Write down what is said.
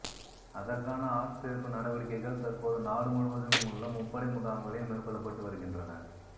அதற்கான ஆட்சேர்ப்பு நடவடிக்கைகள் தற்போது நாடு முழுவதிலுமுள்ள முப்படை முகாம்களில் மேற்கொள்ளப்பட்டு வருகின்றன